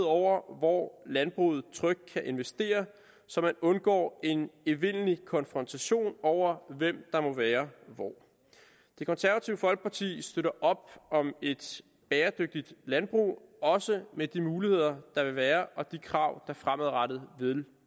over hvor landbruget trygt kan investere så man undgår en evindelig konfrontation over hvem der må være hvor det konservative folkeparti støtter op om et bæredygtigt landbrug også med de muligheder der vil være og de krav der fremadrettet vil